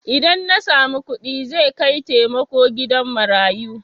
Idan na samu kuɗi zai kai taimako gida marayu.